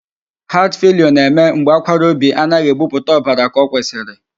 Heart failure na-eme mgbe akwara obi anaghị ebupụta ọbara ka ọ kwesiri.